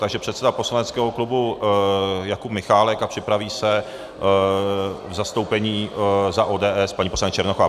Takže předseda poslaneckého klubu Jakub Michálek a připraví se v zastoupení za ODS paní poslankyně Černochová.